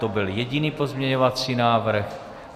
To byl jediný pozměňovací návrh.